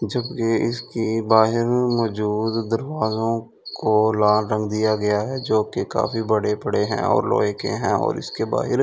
जबकि इसकी बाहिर में मौजूद दरवाजों को लाल रंग दिया गया है जो कि काफी बड़े-बड़े हैं और लोहे के हैं और इसके बाहिर--